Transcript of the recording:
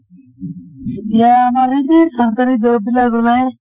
এতিয়া আমাৰ এই যে চৰকাৰী job বিলাক ওলায়